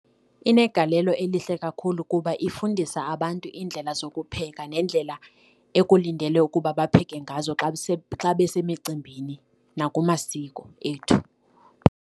Inegalelo elihle kakhulu kuba ifundisa abantu iindlela zokupheka nendlela ekulindelwe ukuba bapheke ngazo xa xa besemicimbini nakumasiko ethu.